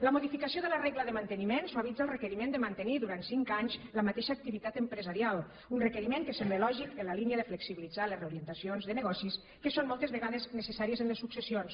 la modificació de la regla de manteniment suavitza el requeriment de mantenir durant cinc anys la mateixa activitat empresarial un requeriment que sembla lògic en la línia de flexibilitzar les reorientacions de negocis que són moltes vegades necessàries en les successions